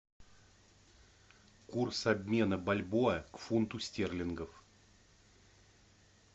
курс обмена бальбоа к фунту стерлингов